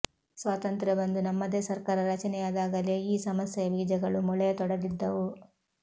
ಸ್ವಾತಂತ್ರ್ಯ ಬಂದು ನಮ್ಮದೇ ಸರ್ಕಾರ ರಚನೆಯಾದಾಗಲೇ ಈ ಸಮಸ್ಯೆಯ ಬೀಜಗಳು ಮೊಳೆಯತೊಡಗಿದ್ದವು